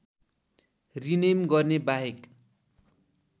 rename गर्नेबाहेक